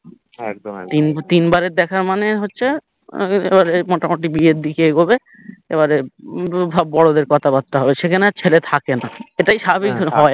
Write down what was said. তিন বারের দেখা মানে হচ্ছে মোটামোটি বিয়ের দিকে এগোবে এবারে বড়োদের কথাবার্তা হবে সেখানে আর ছেলে থাকেনা সেটাই স্বাভাবিক হয়